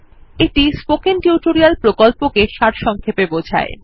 এটি spoken tutorial প্রকল্পটি সারসংক্ষেপে বোঝায়